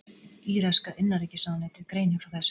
Íraska innanríkisráðuneytið greinir frá þessu